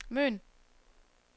Møn